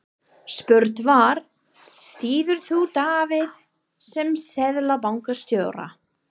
Spurt var, styður þú Davíð sem Seðlabankastjóra?